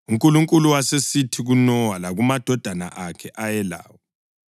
UNkulunkulu wasesithi kuNowa lakumadodana akhe ayelawo: